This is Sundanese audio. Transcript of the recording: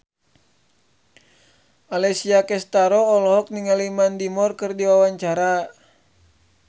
Alessia Cestaro olohok ningali Mandy Moore keur diwawancara